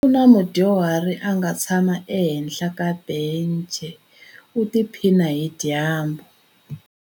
Ku na mudyuhari a nga tshama ehenhla ka bence u tiphina hi dyambu.